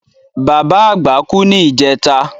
Bàbá àgbà kú ní ìjẹta